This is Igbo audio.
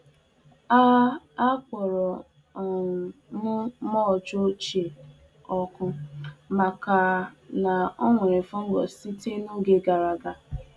Akpọrọ m ahịhịa ochie e ji lachisie àlàubi ọkụ, n'ihi ọ na-echedo nje ọrịa fọngai sitere n'oge ọrụubi nke gara aga.